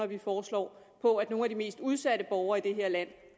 vi foreslår på at nogle af de mest udsatte borgere i det her land